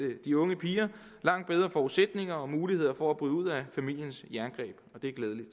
de unge piger langt bedre forudsætninger og muligheder for at bryde ud af familiens jerngreb og det er glædeligt